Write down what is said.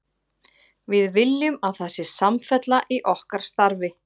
Við viljum að það sé samfella í okkar starfi.